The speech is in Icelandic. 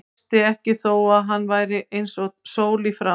Brosti ekki þó að hann væri eins og sól í framan.